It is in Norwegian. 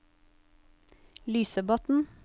Lysebotn